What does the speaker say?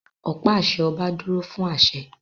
Ọ̀pá àṣẹ ọba dúró fún àṣẹ